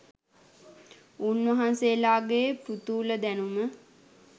උන්වහන්සේලාගේ පෘථූල දැනුම